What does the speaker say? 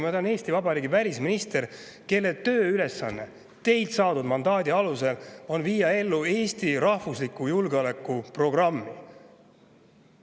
Ma olen Eesti Vabariigi välisminister, kelle tööülesanne teilt saadud mandaadi alusel on viia ellu Eesti rahvusliku julgeoleku programmi.